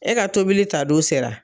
E ka tobili ta don sera